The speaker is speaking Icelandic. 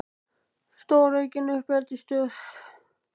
Stóraukin uppeldisstöð?